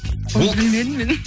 оны білмедім мен